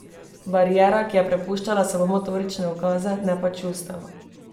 Bariera, ki je prepuščala samo motorične ukaze, ne pa čustev.